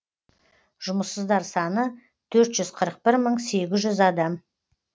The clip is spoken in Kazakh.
жұмыссыздар саны төрт жүз қырық бір мың сегіз жүз адам